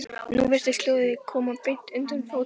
Nú virtist hljóðið koma beint undan fótum hans.